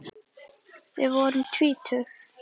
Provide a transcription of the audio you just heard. Við vorum tvítug.